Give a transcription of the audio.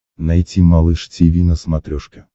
найти малыш тиви на смотрешке